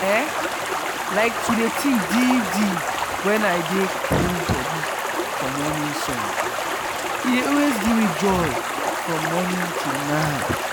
eehi like to dey think deep deep wen i dey cool body for morning sun e dey always give me joy from morning till night.